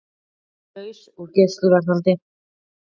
Laus úr gæsluvarðhaldi